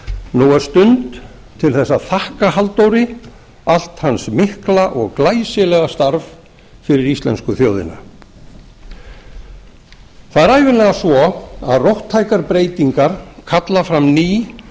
nú er stund til að þakka halldóri allt hans mikla og glæsilega starf fyrir íslensku þjóðina það er ævinlega svo að róttækar breytingar kalla fram ný